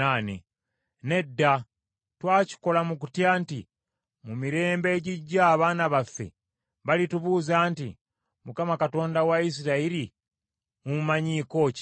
Nedda, twakikola mu kutya nti mu mirembe egijja abaana baffe balitubuuza nti, ‘ Mukama Katonda wa Isirayiri mumumanyiiko ki?